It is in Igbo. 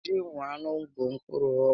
Ji nwa ńnú bụ mgbọrọgwụ